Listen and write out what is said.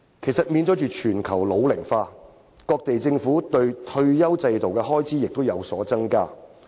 其實，面對全球老齡化，各地政府在退休保障方面的開支亦有所增加。